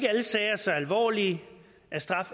at vi